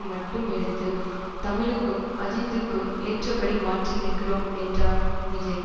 மட்டும் எடுத்து தமிழுக்கும் அஜித்துக்கும் ஏற்றபடி மாற்றியிருக்கிறோம் என்றார் விஜய்